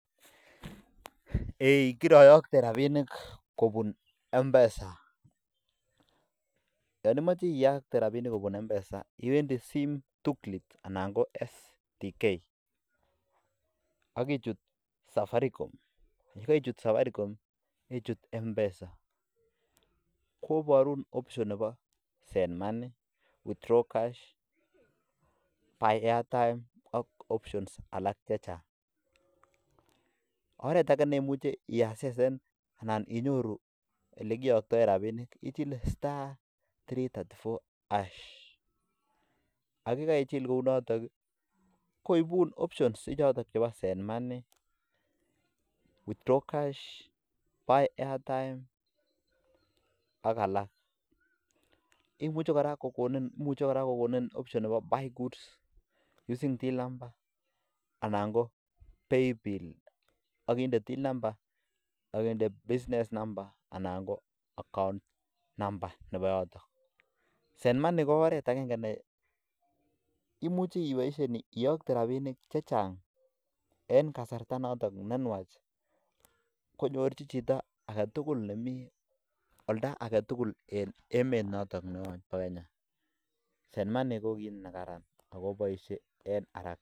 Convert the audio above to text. Iwendii sim tool kit anan ko STK akichut safaricom akichut mpesa oret akee ko ichilee *334# kokonin koraa imuchi ibaishe iyotee rabining chechang eng karaka